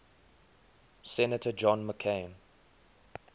senator john mccain